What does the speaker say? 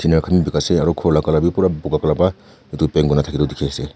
ena khan beh bekai she aro khor la colour beh bura puka bra etu paint kura tu dekhe ase.